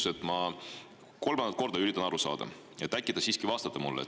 Ma üritan kolmandat korda aru saada, äkki te siiski vastate mulle.